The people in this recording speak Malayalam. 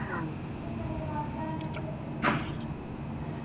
ആഹ്